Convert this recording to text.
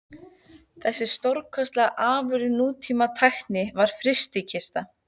Þessi stórkostlega afurð nútíma tækni var FRYSTIKISTA.